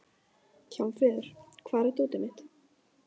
Hjálmfríður, hvar er dótið mitt?